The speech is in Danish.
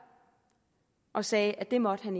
og sagde at det måtte han